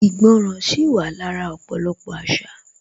Ìgbọràn sì wà lára ọ̀pọ̀lọpọ̀ àṣà